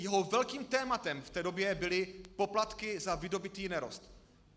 Jeho velkým tématem v té době byly poplatky za vydobytý nerost.